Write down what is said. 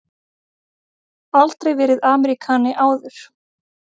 Aldrei verið Ameríkani áður.